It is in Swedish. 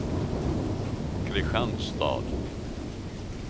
Kristianstad